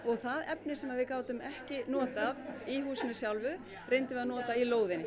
það efni sem við gátum ekki notað í húsinu sjálfu reyndum við að nota í lóðina